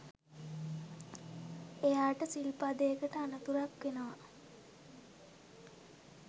එයාට සිල්පදයකට අනතුරක් වෙනවා